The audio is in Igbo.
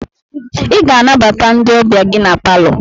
Ị ga-anabata ndị ọbịa gị na palọ!